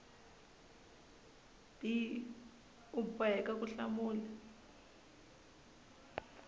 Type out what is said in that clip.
b u boheka ku hlamula